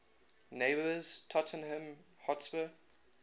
neighbours tottenham hotspur